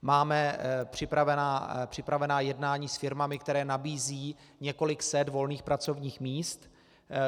Máme připravená jednání s firmami, které nabízejí několik set volných pracovních míst.